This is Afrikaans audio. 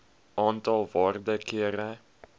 aantal waarde kere